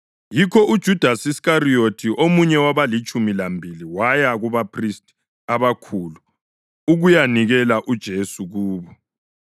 Yikho uJudasi Iskariyothi, omunye wabalitshumi lambili waya kubaphristi abakhulu ukuyanikela uJesu kubo.